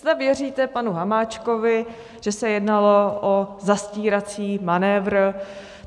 Snad věříte panu Hamáčkovi, že se jednalo o zastírací manévr?